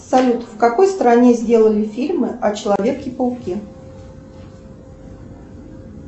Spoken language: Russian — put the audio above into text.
салют в какой стране сделали фильмы о человеке пауке